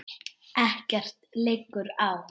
Ekkert liggur á